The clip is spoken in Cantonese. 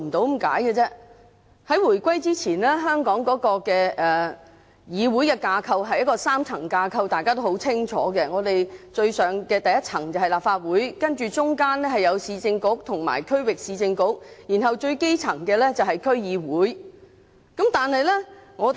大家都很清楚，回歸之前，香港的議會架構是一個3層架構，最上的一層是立法局，中間是市政局和區域市政局，最底層的是區議會。